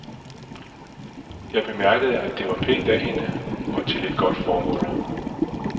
Jeg bemærkede, at det var pænt af hende og til et godt formål.